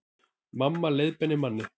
Mamma leiðbeinir manni